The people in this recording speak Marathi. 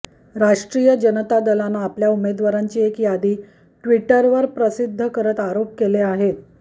राष्ट्रीय जनता दलानं आपल्या उमेदवारांची एक यादी ट्विटरवर प्रसिद्ध करत आरोप केले आहेत